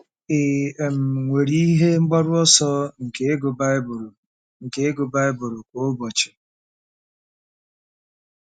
Ị um nwere ihe mgbaru ọsọ nke ịgụ Bible nke ịgụ Bible kwa ụbọchị?